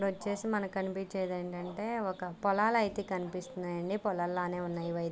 ఇక్కడ వచ్చేసి మనకు కనిపించేది ఏందంటే ఒక పొలాల అయితే కనిపిస్తుంది. పొలాలు లాగానే ఉన్నాయి ఇవి --